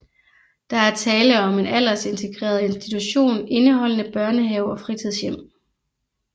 Der er tale om en aldersintegreret institution indeholdende børnehave og fritidshjem